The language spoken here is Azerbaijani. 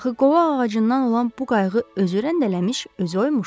Axı qovaq ağacından olan bu qayığı özü rəndələmiş, özü oymuşdu.